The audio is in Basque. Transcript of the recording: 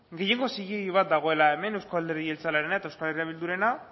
gehiengo zilegi bat dagoela hemen euzko alderdi jeltzalerena eta euskal herria bildurena